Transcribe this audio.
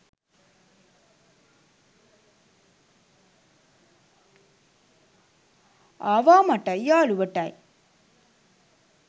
ආවා මටයි යාළුවටයි